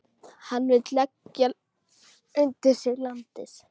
Hann vill leggja undir sig landið.